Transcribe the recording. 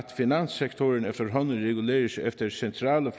finanssektoren efterhånden reguleres efter centrale